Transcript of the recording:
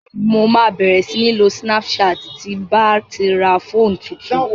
Mo ma bẹ̀rẹ̀ sí ń lo snapchat ti ń bá ti ra fóònù tuntun